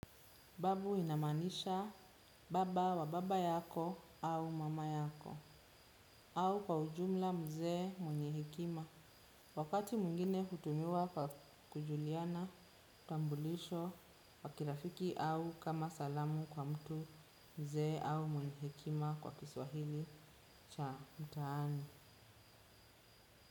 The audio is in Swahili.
Babu inamanisha baba wa baba yako au mama yako au kwa ujumla mzee mwenye hekima. Wakati mwingine hutumiwa kujuliana, utambulisho, wa kirafiki au kama salamu kwa mtu mzee au mwenye hekima kwa kiswahili cha mtaani.